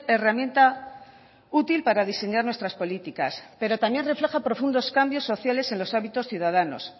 herramienta útil para diseñar nuestras políticas pero también refleja profundos cambios sociales en los hábitos ciudadanos